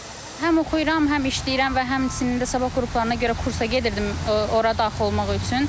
Həm oxuyuram, həm işləyirəm və həmçinin də sabah qruplarına görə kursa gedirdim, ora daxil olmaq üçün.